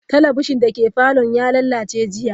Talabishin dake falon ya lalace jiya.